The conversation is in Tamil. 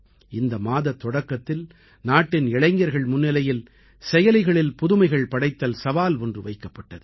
இந்த மாதத் தொடக்கத்தில் நாட்டின் இளைஞர்கள் முன்னிலையில் செயலிகளில் புதுமைகள் படைத்தல் சவால் ஒன்று வைக்கப்பட்டது